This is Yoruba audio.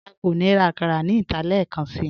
À kò ní rá àkàrà ní ìtà lẹẹkànṣí